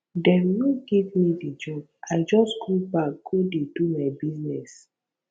dem no give me di job i just go back go dey do my business